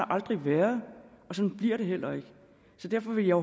aldrig været og sådan bliver det heller ikke så derfor vil jeg